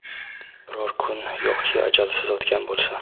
Biror kun yo‘qki ajalsiz o‘tgan bo‘lsa.